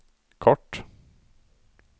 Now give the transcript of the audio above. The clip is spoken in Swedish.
kort